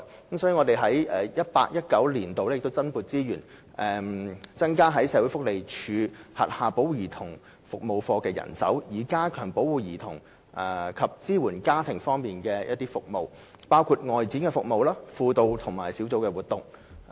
所以，我們在 2018-2019 年度增撥資源，增加社會福利署轄下保護家庭及兒童服務課的人手，以加強保護兒童及支援家庭方面的服務，包括外展服務、輔導及小組活動。